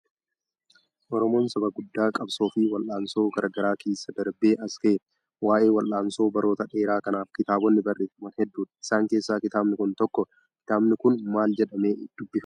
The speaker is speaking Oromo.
Oromoon saba guddaa qabsoo fi wal'aansoo garaa garaa keessa darbee as ga'edha. Waa'ee wal'aansoo baroota dheeraa kanaaf kitaabonni barreeffaman hedduudha. Isaan keessaa kitaabni kun tokkodha. Kitaabni kun maal jedhamee dubbifama?